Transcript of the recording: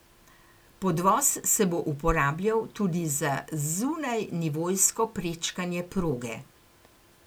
Podvoz se bo uporabljal tudi za zunajnivojsko prečkanje proge.